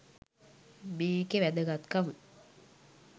මේකෙ වැදගත්කම